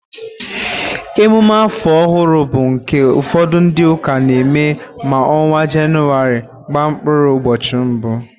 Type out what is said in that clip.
Emume áfọ̀ ọhụrụ bụ nke ụfọdụ ndị ụka na-eme ma ọnwa Jenụwarị gbaa mkpụrụ ụbọchị mbụ.